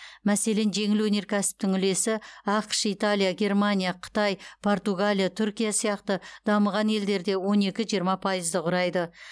мәселен жеңіл өнеркәсіптің үлесі ақш италия германия қытай португалия түркия сияқты дамыған елдерде он екі жиырма пайызды құрайды